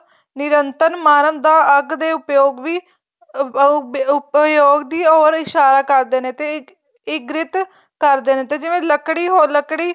ਨਿੰਯਤਰਨ ਮਾਰਨ ਦਾ ਅੱਗ ਦੇ ਉੱਪਯੋਗ ਵੀ ਅਹ ਉੱਪਯੋਗ ਦੀ or ਇਸਾਰਾਂ ਕਰਦੇ ਨੇ ਤੇ ਇੱਗਰਿੱਤ ਕਰਦੇ ਨੇ ਤੇ ਜਿਵੇਂ ਲੱਕੜੀ ਲੱਕੜੀ